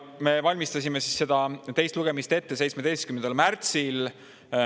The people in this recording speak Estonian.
Me valmistasime teist lugemist ette 17. märtsil.